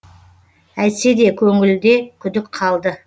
әйтсе де көңілде күдік қалды